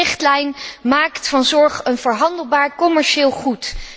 De nieuwe richtlijn maakt van zorg een verhandelbaar commercieel goed.